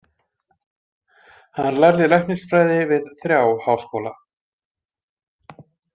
Hann lærði læknisfræði við þrjá háskóla.